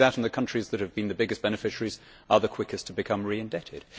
The countries that have been the biggest beneficiaries are the quickest to become reindebted.